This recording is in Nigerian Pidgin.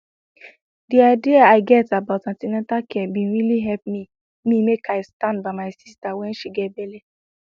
the idea i get about an ten atal care bin really help me me make i stand by my sister when she get belle